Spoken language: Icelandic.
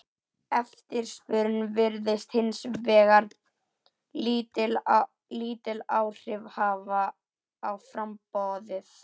Eftirspurn virðist hins vegar lítil áhrif hafa á framboðið.